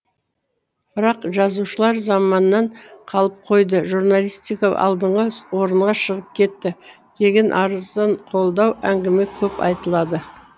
бірақ жазушылар заманнан қалып қойды журналистика алдыңғы орынға шығып кетті деген арзанқолдау әңгіме көп айтылады